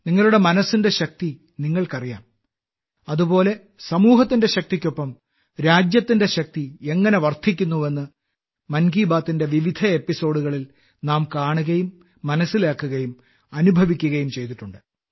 നിങ്ങളുടെ മനസ്സിന്റെ ശക്തി നിങ്ങൾക്കറിയാം അതുപോലെ സമൂഹത്തിന്റെ ശക്തിക്കൊപ്പം രാജ്യത്തിന്റെ ശക്തി എങ്ങനെ വർദ്ധിക്കുന്നുവെന്ന് മൻ കി ബാത്തിന്റെ വിവിധ എപ്പിസോഡുകളിൽ നാം കാണുകയും മനസ്സിലാക്കുകയും അനുഭവിക്കുകയും ചെയ്തിട്ടുണ്ട്